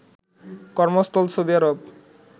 কর্মস্থল সৌদি আরব